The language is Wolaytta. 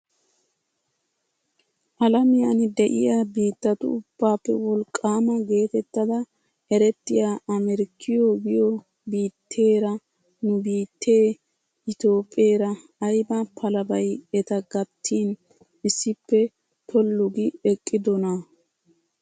Alamiyaan de'iyaa bittatu ubbappe wolqqaama getettada erettiyaa amerkkiyoo giyoo biitteera nu biittee itoophpheera ayba palabay eta gattin issippe tollu gi eqqidoonaa!